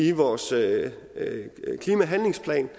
i vores klimahandlingsplan